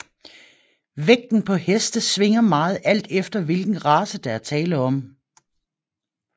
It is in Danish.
Vægten på heste svinger meget alt efter hvilken race der er tale om